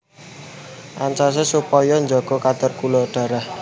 Ancasé supaya njaga kadar gula darah